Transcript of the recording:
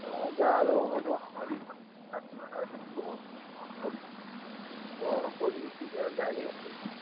ହଁ ଯାହା ହେଲେ ହବ loan କରିଥିଲି ସେ ସବୁ ଗଲା କଣ କରିବୁ କିଛି ଆଉ ଜାଣି ହଉନି।